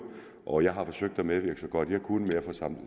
og jeg har forsøgt at medvirke så godt jeg kunne med at få